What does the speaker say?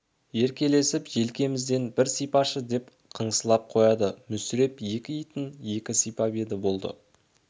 еркелесіп желкемізден бір сипашы деп қыңсыласып қояды мүсіреп екі итін екі сипап еді болды